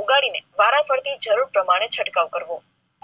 ઉગાડીને વારા ફરથી જરૂર પ્રમાણે છટકાવ કહો